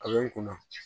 A bɛ n kunna